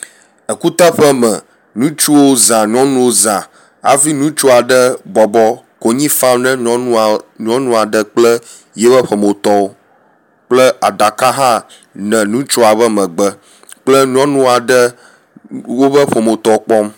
Ekuteƒe me, ŋutsuwo zã nyɔnuwo zã afi ŋutsu aɖe bɔbɔ konyi fam na nyɔnua nyɔnu aɖe kple yio ƒometɔwo kple aɖaka hã nɔ ŋutsua be megbe kple nyɔnu aɖe wobe ƒometɔ kpɔm.